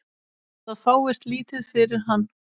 Það fáist lítið fyrir hann.